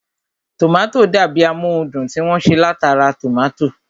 Tòmátò dàbi amóhundùn tí wọ́n ṣe látara tòmátò